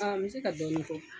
N bɛ se ka dɔɔnin fɔ